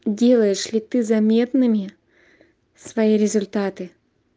делаешь ли ты заметными свои результаты